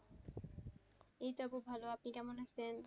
এইতো আপু ভালো আপনি কেমন আছেন?